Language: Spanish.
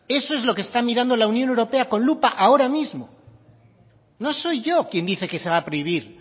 eso es lo que está mirando la unión europea con lupa ahora mismo no soy yo quien dice que se va a prohibir